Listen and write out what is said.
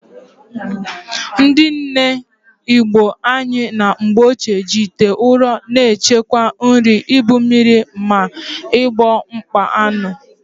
Ndị nne Igbo anyị na mgbochie, ji ite ụrọ na-echekwa nri, ibu mmiri, ma ọbụ ịkpa aṅụ.